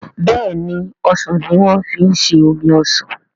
béèni osàn ní wan fí ṣe omí osán.